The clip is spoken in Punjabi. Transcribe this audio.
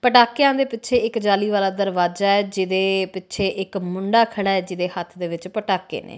ਪਟਾਕਿਆਂ ਦੇ ਪਿੱਛੇ ਇੱਕ ਜਾਲੀ ਵਾਲਾ ਦਰਵਾਜ਼ਾ ਐ ਜਿਹਦੇ ਪਿੱਛੇ ਇੱਕ ਮੁੰਡਾ ਖੜਾ ਐ ਜਿਹਦੇ ਹੱਥ ਦੇ ਵਿੱਚ ਪਟਾਕੇ ਨੇ।